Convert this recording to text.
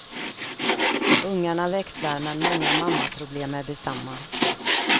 Ungarna växlar, men många mammaproblem är desamma.